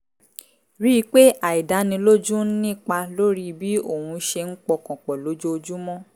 rí i pé àìdánilójú ń nípa lórí bí óun ṣe ń pọkàn pọ̀ lójoojúmọ́